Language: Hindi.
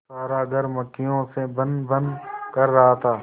सारा घर मक्खियों से भनभन कर रहा था